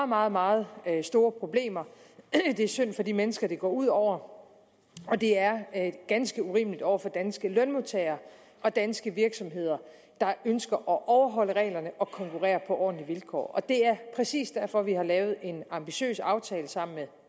meget meget store problemer det er synd for de mennesker det går ud over og det er ganske urimeligt over for danske lønmodtagere og danske virksomheder der ønsker at overholde reglerne og konkurrere på ordentlige vilkår det er præcis derfor vi har lavet en ambitiøs aftale sammen med